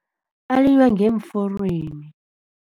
Alinywa ngeemforweni.